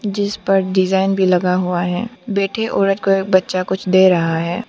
जिस पर डिजाइन भी लगा हुआ है बैठे औरत को एक बच्चा कुछ दे रहा है।